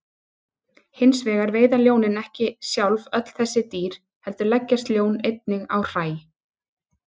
Hins vegar veiða ljónin ekki sjálf öll þessi dýr heldur leggjast ljón einnig á hræ.